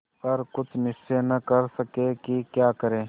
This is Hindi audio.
पर कुछ निश्चय न कर सके कि क्या करें